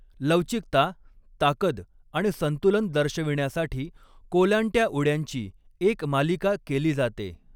लवचिकता, ताकद आणि संतुलन दर्शविण्यासाठी कोलांट्या उड्यांची एक मालिका केली जाते.